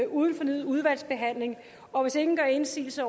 uden fornyet udvalgsbehandling og hvis ingen gør indsigelse